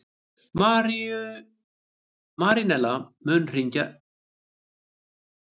Marínella, mun rigna í dag?